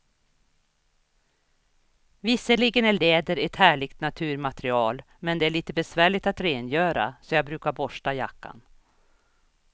Visserligen är läder ett härligt naturmaterial, men det är lite besvärligt att rengöra, så jag brukar borsta jackan.